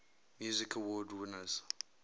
music awards winners